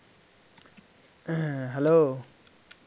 হ্যাঁ hello